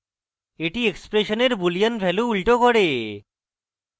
এটি এক্সপ্রেসনের boolean value উল্টো করে